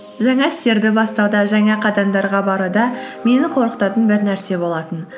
жаңа істерді бастауда жаңа қадамдарға баруда мені қорқытатын бір нәрсе болатын